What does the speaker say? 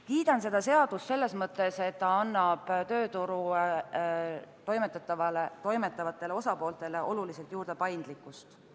Kiidan seda seadust selles mõttes, et ta annab tööturul toimetavatele osapooltele juurde paindlikkust.